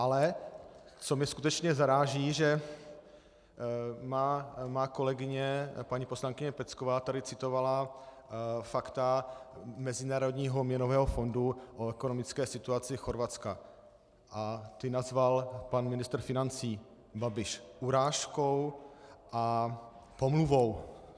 Ale co mě skutečně zaráží, že má kolegyně paní poslankyně Pecková tady citovala fakta Mezinárodního měnového fondu o ekonomické situaci Chorvatska a ta nazval pan ministr financí Babiš urážkou a pomluvou.